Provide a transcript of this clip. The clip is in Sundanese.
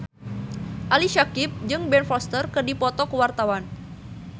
Ali Syakieb jeung Ben Foster keur dipoto ku wartawan